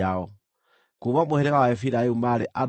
Kuuma mũhĩrĩga wa Efiraimu maarĩ andũ 40,500.